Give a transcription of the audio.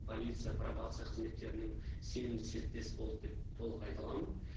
полиция пробация қызметтерінің сенімді серіктесі болды деп толық айта аламын